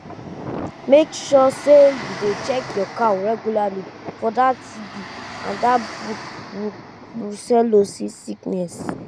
make sure say you dey check your cow regularly for tb and that brucellosis sickness